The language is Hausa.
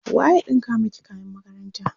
waye ya ɗinka maki kayan makaranta?